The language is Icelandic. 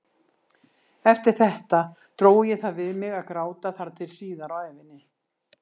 Eftir þetta dró ég það við mig að gráta þar til síðar á ævinni.